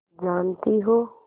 जानती हो